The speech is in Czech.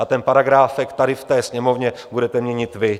A ten paragráfek tady v té Sněmovně budete měnit vy.